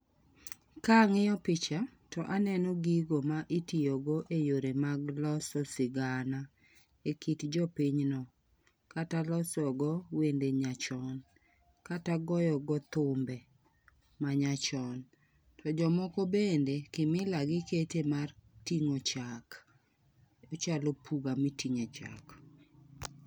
Kang'iyo picha to aneno gigo mitiyo go e yore mag loso sigana e kit jopiny no kata loso go wende nyachon, kata goyo go thumbe ma nya chon. To jomoko bende kimila gi kete mar ting'o chak. Ochalo puga miting'e chak.